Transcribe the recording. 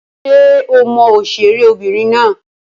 Ṣé o mọ òṣèré obìnrin náà?